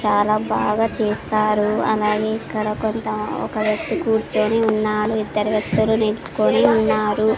చాలా బాగా చేస్తారు అలాగే ఇక్కడ కొంత ఒక వ్యక్తి కూర్చొని ఉన్నాడు ఇద్దరు వ్యక్తులు నిల్చుకొని ఉన్నారు.